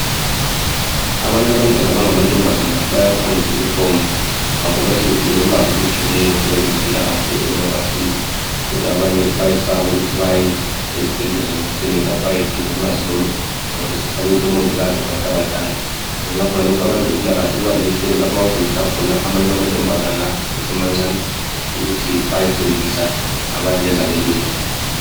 Abanye abantwana abangamantombazane bayaphangisa ukuthomba ngakho bayabe sebedinga ulwazi okugcweleyo ngezempilakahle okungabasiza kodwa abanye bayesaba ukuthi baye ezibhedlela lemakilinika bayedinga ulwazi lolu ngoba besesaba ukuthi omangikazi ngabantu abadala. Ngenxa yakhonalokho abezempilakahle babalenhlelo lapho abafundisa khona amanye amantombazane asesemancane ukuthi bayefundisa abanye ezabelweni.